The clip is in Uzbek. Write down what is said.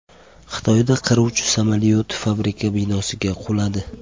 Xitoyda qiruvchi samolyot fabrika binosiga quladi.